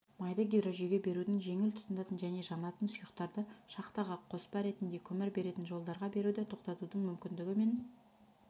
майды гидрожүйеге берудің жеңіл тұтанатын және жанатын сұйықтарды шахтаға қоспа ретінде көмір беретін жолдарға беруді тоқтатудың мүмкіндігі мен